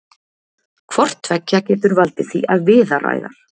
hvort tveggja getur valdið því að viðaræðar